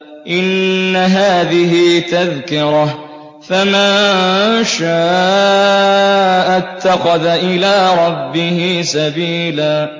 إِنَّ هَٰذِهِ تَذْكِرَةٌ ۖ فَمَن شَاءَ اتَّخَذَ إِلَىٰ رَبِّهِ سَبِيلًا